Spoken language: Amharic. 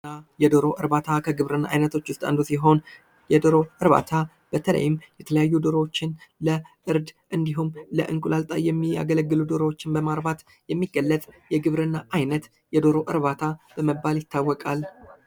የዶሮ እርባታ ከግብርና አይነቶች ውስጥ አንዱ ሲሆን የዶሮ እርባታ በተለይም የተለያዩ ዶሮዎችን ለእርድ እንዲሁም ለእንቁላል ጣይ የሚያገለግሉ ዶሮዎችን በማርባት የሚገለጽ የግብርና አይነት የዶሮ እርባታ በመባል ይታወቃል።